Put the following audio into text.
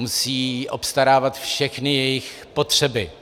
Musí obstarávat všechny jejich potřeby.